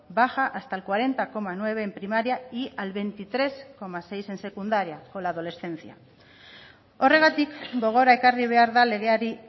baja hasta el cuarenta coma nueve en primaria y al veintitrés coma seis en secundaria con la adolescencia horregatik gogora ekarri behar da legeari